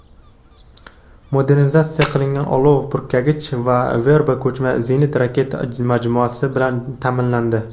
modernizatsiya qilingan olov purkagich va "Verba" ko‘chma zenit-raketa majmuasi bilan ta’minlandi.